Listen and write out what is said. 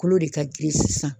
Kolo de ka girin sisan.